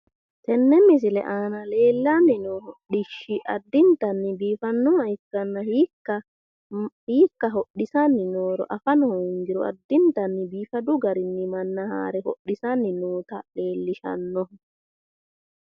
Tenne misile aana leellanni noo hodhishshi addintanni biifannoha ikkanna hiikka hodhisanni nooro afano hoongiro addintanni biifadu garinni manna haare hodhisanni noota leellishshanno.